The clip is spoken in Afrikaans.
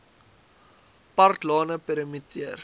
park lane perimeter